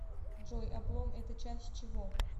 джой облом это часть чего